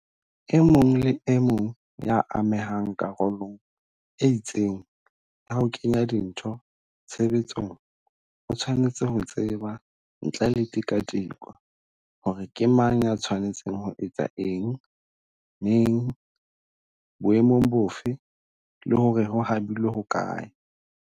E mong le e mong ya amehang karolong e itseng ya ho kenya dintho tshebetsong o tshwanetse ho tseba ntle le tikatiko hore ke mang ya tshwanetseng ho etsa eng, neng, boemong bofe, le hore ho habilwe hokae.